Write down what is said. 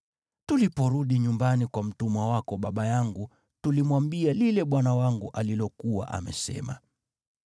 Tuliporudi nyumbani kwa mtumwa wako baba yangu, tulimwambia lile bwana wangu alilokuwa amesema.